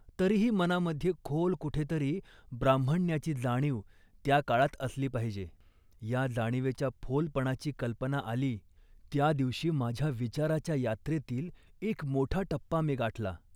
तरीही मनामध्ये खोल कुठेतरी ब्राह्मण्याची जाणीव त्या काळात असली पाहिजे. या जाणिवेच्या फोलपणाची कल्पना आली त्या दिवशी माझ्या विचाराच्या यात्रेतील एक मोठा टप्पा मी गाठला